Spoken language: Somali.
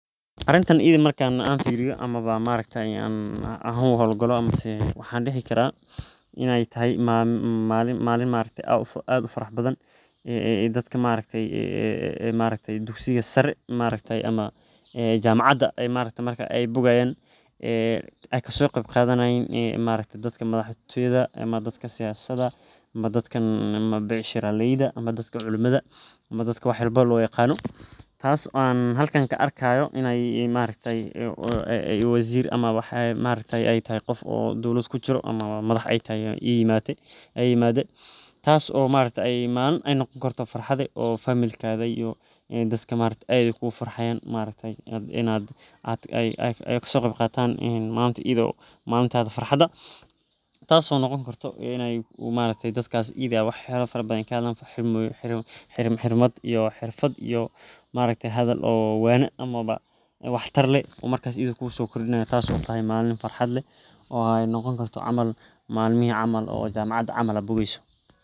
Arinta iyidi marka an firiyo ama mawa aragtaye an u howl galo mise waxan dhihi karaa inay tahay malin ma aragte aad ufarax badan ay dadka ma aragte ay ma aragte aya dugsiga sare ma aragte ama jamacada ma aragte ay bogaaayan ee ay kaso qebqadanayiin dadka madax tooyada ama dadka siyasada ama dadkan becshiraleyda ama dadkan culumada ama dadka wax loo yaqaano taas on ka arkaayo inay ma aragte ee waziir ama ay tagay qof oo dowlad kujiro amaba madax ay imaade tasso ma aragte ay malin noqon karto farxad oo familkaga iyo dadka ay ku farxayan ma aragte inay ay kasoo qeb qataan iyido malintas farxada taaso noqon karto ma aragte daskas iyide aa wax fara badan kaheelan xirmad xirmad iyo ma aragte hadal oo fican ama wax tar leh, marka iyida kuso kordinayo taaso tahay malin farxad leh oo ay noqon karto camal malachi camal oo jamacada ad bogeyso